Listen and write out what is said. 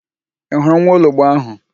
Ị hụrụ nwaologbo áhụ̀?